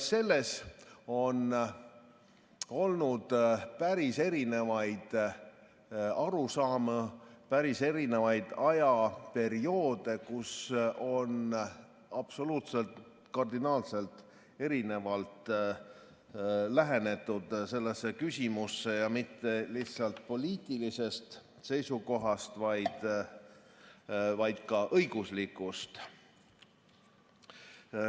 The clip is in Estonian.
Selle kohta on olnud päris erinevaid arusaamu, on olnud päris erinevaid ajaperioode, kui on absoluutselt, kardinaalselt erinevalt lähenetud sellele küsimusele, ja mitte lihtsalt poliitilisest seisukohast, vaid ka õiguslikust.